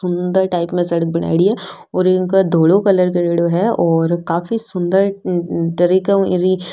सुन्दर टाइप में सड़क बनायेड़ी है और इनका दोनों कलर करेडो है और काफी सुन्दर तरह --